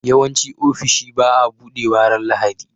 yawanci ofishi baa buɗewa ran lahadi